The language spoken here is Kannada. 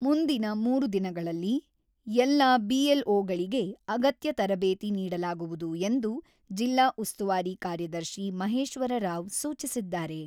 ಮುಂದಿನ ಮೂರು ದಿನಗಳಲ್ಲಿ ಎಲ್ಲಾ ಬಿಎಲ್‌ಒಗಳಿಗೆ ಅಗತ್ಯ ತರಬೇತಿ ನೀಡಲಾಗುವುದು ಎಂದು ಜಿಲ್ಲಾ ಉಸ್ತುವಾರಿ ಕಾರ್ಯದರ್ಶಿ ಮಹೇಶ್ವರರಾವ್ ಸೂಚಿಸಿದ್ದಾರೆ.